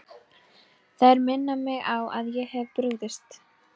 Þær minna mig á að ég hef brugðist.